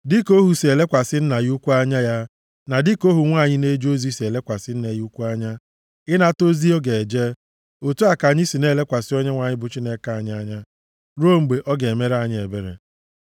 Dịka ohu si elekwasị nna ya ukwu anya ya, na dịka ohu nwanyị na-eje ozi si elekwasị nne ya ukwu anya, ịnata ozi ọ ga-eje, + 123:2 Nʼoge ochie, ndị nwere ohu adịghị e kwuru ha okwu mgbe a na-ezi ha ozi, kama ọ bụ aka ka nne ha ukwu maọbụ nna ha ukwu ji agwa ha ihe ha kwesiri ime. otu a ka anyị si na-elekwasị Onyenwe anyị bụ Chineke anyị anya, ruo mgbe ọ ga-emere anyị ebere.